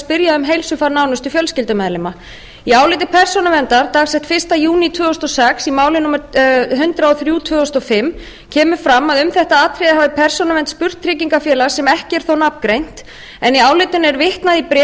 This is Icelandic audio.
spyrja um heilsufar nánustu fjölskyldumeðlima í áliti persónuverndar dags fyrsta júní tvö þúsund og sex í máli númer hundrað og þrjú tvö þúsund og fimm kemur fram að um þetta atriði hafi persónuvernd spurt tryggingafélag sem ekki er þó nafngreint en í álitinu er vitnað í bréf